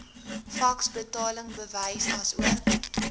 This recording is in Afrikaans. faks betalingsbewys asook